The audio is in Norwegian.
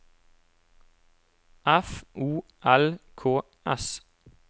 F O L K S